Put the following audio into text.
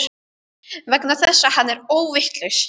Vegna þess að hann er óvitlaus.